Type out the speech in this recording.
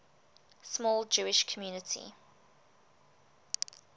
small jewish community